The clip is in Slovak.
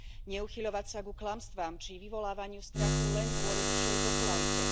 Neuchyľovať sa ku klamstvám či vyvolávaniu strachu len kvôli vyššej popularite.